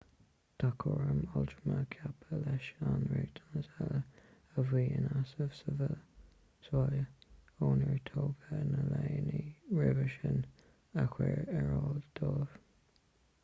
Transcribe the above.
tá cúram altrama ceaptha leis na riachtanais uile a bhí in easnamh sa bhaile ónar tógadh na leanaí roimhe sin a chur ar fáil dóibh